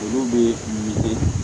Olu bɛ